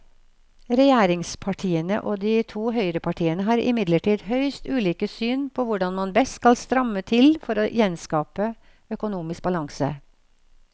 Regjeringspartiene og de to høyrepartiene har imidlertid høyst ulike syn på hvordan man best skal stramme til for å gjenskape økonomisk balanse.